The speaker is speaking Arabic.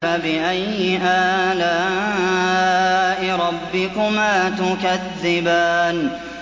فَبِأَيِّ آلَاءِ رَبِّكُمَا تُكَذِّبَانِ